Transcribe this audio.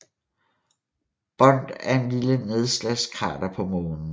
Bond er et lille nedslagskrater på Månen